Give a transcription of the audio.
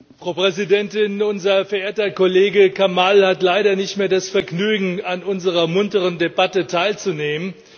Frau Präsidentin! Unser verehrter Kollege Kamall hat leider nicht mehr das Vergnügen, an unserer munteren Debatte teilzunehmen.